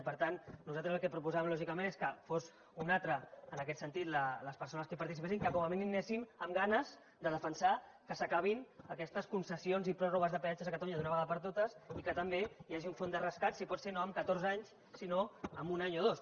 i per tant nosaltres el que proposàvem lògicament és que fossin unes altres en aquest sentit les persones que hi participessin que com a mínim hi anéssim amb ganes de defensar que s’acabin aquestes concessions i pròrrogues de peatges a catalunya d’una vegada per totes i que també hi hagi un fons de rescat si pot ser no en catorze anys sinó en un any o dos